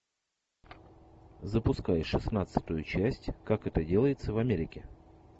запускай шестнадцатую часть как это делается в америке